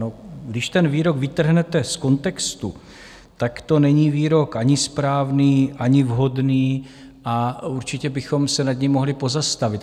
No, když ten výrok vytrhnete z kontextu, tak to není výrok ani správný, ani vhodný a určitě bychom se nad ním mohli pozastavit.